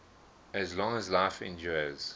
as long as life endures